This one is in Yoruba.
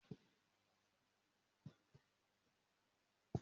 Mo máa di alásè lẹ́yìn ẹ̀kọ́ náà.